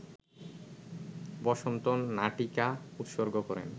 বসন্ত নাটিকা উৎসর্গ করেন